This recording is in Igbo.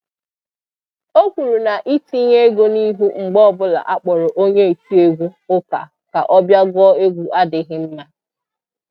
O kwuru na ị tinye ego n'ihu mgbe ọbụla a kpọrọ onye otiewgu ụka ka ọ bịa gụọ egwu adịghị mma